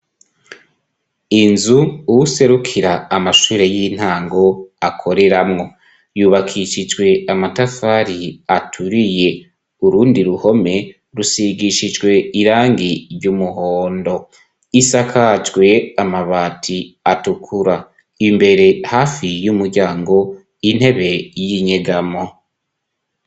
Inzu uwuserukira amashure y'intango akoreramwo. Yubakishijwe amatafari aturiye. Urundi ruhome rusigishijwe irangi ry' umuhondo isakajwe amabati atukura, imbere hafi y'umuryango intebe y'inyegamo.